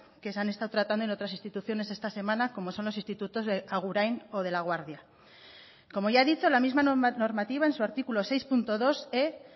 que se han estado tratando en otras instituciones esta semana como son los institutos de agurain o de laguardia como ya he dicho la misma normativa en su artículo seis punto dose